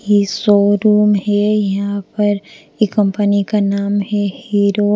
ये शोरूम है यहां पर ये कंपनी का नाम है हीरो --